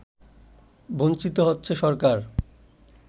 বঞ্চিত হচ্ছে সরকার